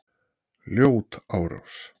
Ljót árás